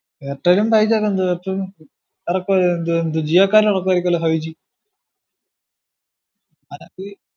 എയർടെലും five G ജിയോകാർ എല്ലു ഇറക്കുവരായിരിക്കു അല്ലോ ഫൈവ് ജി